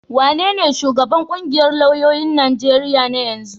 Wanene shugaban ƙungiyar lauyoyin Najeriya na yanzu?